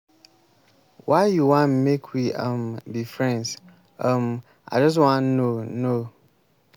why you wan make we um be friends? um i just wan know know.